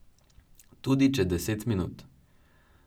Tudi če deset minut.